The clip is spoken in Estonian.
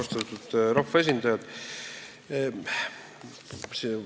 Austatud rahvaesindajad!